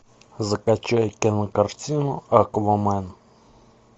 закачай кинокартину аквамен